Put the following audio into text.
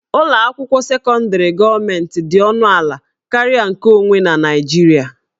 Ụlọ akwụkwọ sekọndrị gọọmentị dị ọnụ ala karịa nkeonwe na Naịjirịa